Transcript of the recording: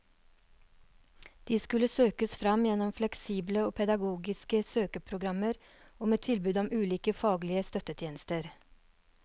De skal kunne søkes fram gjennom fleksible og pedagogiske søkeprogrammer og med tilbud om ulike faglige støttetjenester.